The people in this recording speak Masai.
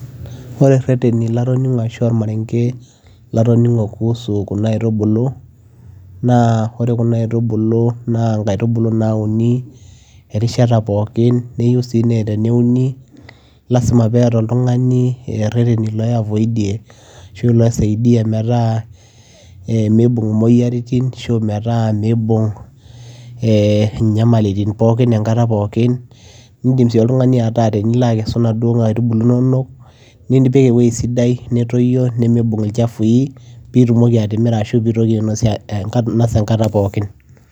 Ore reteni latoning'o ashu ormareng'e latoning'o kuhusu kuna iatubulu naa ore kuna aitubulu naa nkaitubulu nauni erishata pookin neyiu sii nee teneuni, lazima peeta oltung'ani reteni lai avoid ie ashu lai saidia metaa miibung' moyiaritin, nisho metaa miibung' ee nyamalitin pookin enkata pookin. Indim sii oltung'ani ataa tenilo akesu naduo aitubulu inonok nipik ewuei sidai, ene toyio nemiibung' il chafu i piitumoki atimira ashu piitumoki ainosie enka ainosa enkata pookin.